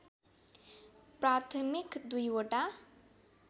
प्राथमिक दुईवटा